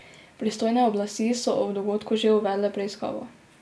Pristojne oblasti so o dogodku že uvedle preiskavo.